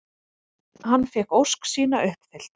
Hann fékk ósk sína uppfyllta.